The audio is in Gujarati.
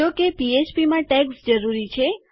જો કે પીએચપીમાં ટૅગ્સ જરૂરી છે